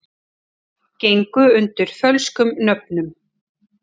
Gengu undir fölskum nöfnum